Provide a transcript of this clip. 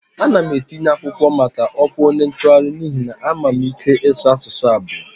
Ana m etinye akwụkwọ maka ọkwa onye ntụgharị n'ihi na ama m ike ịsụ asụsụ abụo